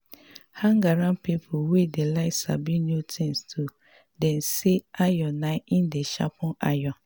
hang around pipo wey dey like sabi new things too dem sey iron na im dey sharpen iron